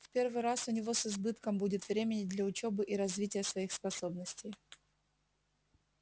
в первый раз у него с избытком будет время и для учёбы и развития своих способностей